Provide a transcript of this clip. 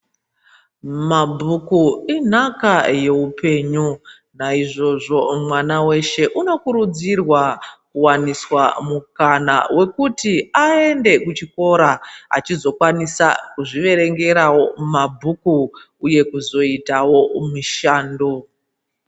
Mabhuku inhaka yeupenyu naizvozvo mwana weshe unokurudzirwa kuwaniswa mukana wekuti aende kuchikora achizokwanisa kuzviverengerawo mabhuku uye kuzoitawo mishando.